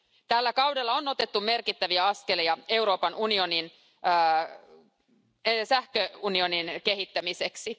Tällä kaudella on otettu merkittäviä askelia Euroopan unionin sähköunionin kehittämiseksi.